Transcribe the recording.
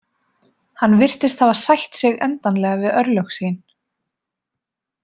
Hann virtist hafa sætt sig endanlega við örlög sín.